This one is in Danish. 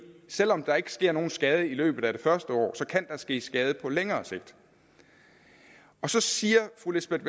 selv om der ikke sker nogen skade i løbet af det første år så kan der ske skade på længere sigt så siger fru lisbeth